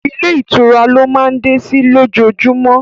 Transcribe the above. Ilé ìtura lọ máa ń dé sí ló jojúmọ́